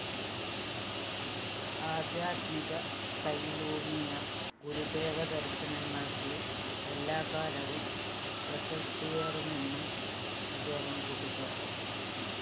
ആദ്ധ്യാത്മികതയിലൂന്നിയ ഗുരുദേവദര്‍ശനങ്ങള്‍ക്ക് എല്ലാക്കാലവും പ്രസക്തിയേറുമെന്നും അദ്ദേഹം കൂട്ടിച്ചേര്‍ത്തു